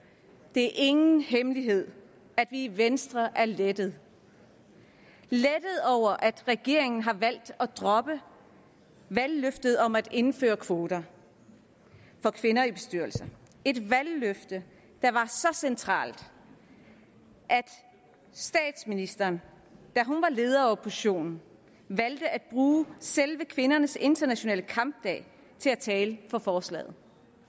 det er ingen hemmelighed at vi i venstre er lettede over at regeringen har valgt at droppe valgløftet om at indføre kvoter for kvinder i bestyrelser et valgløfte der var så centralt at statsministeren da hun var leder af oppositionen valgte at bruge selve kvindernes internationale kampdag til at tale for forslaget